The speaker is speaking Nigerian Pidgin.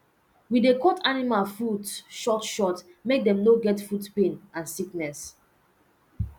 we dey cut animal foot short short make dem no get foot pain and sickness